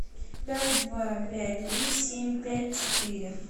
пять два пять три семь пять четыре